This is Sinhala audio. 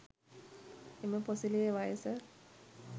එම පොසිලයේ වයස